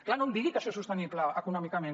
clar no em digui que això és sostenible econòmicament